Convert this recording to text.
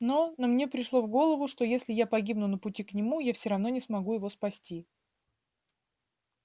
но но мне пришло в голову что если я погибну на пути к нему я все равно не смогу его спасти